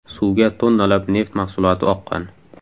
Suvga tonnalab neft mahsuloti oqqan.